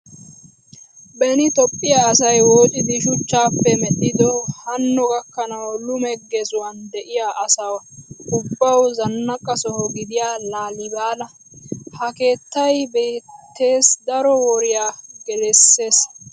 Beni Toophphiya asay woocidi shuchchaappe medhdhido hanno gakkanawu lume gezuwan de'iya asa ubbawu zannaqa soho gidiya Laalibalaa. Ha keettay biitteessi daro woriya gelisses.